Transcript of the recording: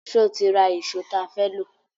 Ṣé o ti ra ìṣó tí a fẹ́ lò